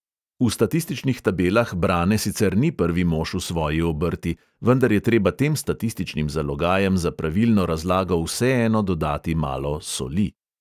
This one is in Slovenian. V statističnih tabelah brane sicer ni prvi mož v svoji obrti, vendar je treba tem statističnim zalogajem za pravilno razlago vseeno dodati malo "soli".